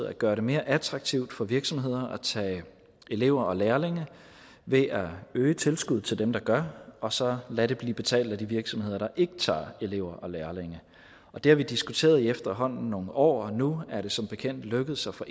at gøre det mere attraktivt for virksomheder at tage elever og lærlinge ved at øge tilskuddet til dem der gør og så lade det blive betalt af de virksomheder der ikke tager elever og lærlinge det har vi diskuteret i efterhånden nogle år og nu er det som bekendt lykkedes at få